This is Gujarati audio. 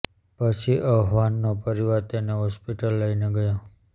પછી અહવાન નો પરિવાર તેને હોસ્પિટલ લઇ ને ગયો